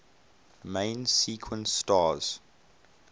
main sequence stars